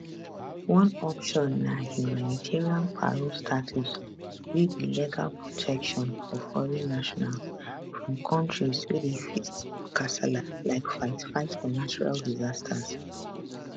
one option na humanitarian parole status wey be legal protection for foreign nationals from kontris wey dey face kasala like fightfight for natural disasters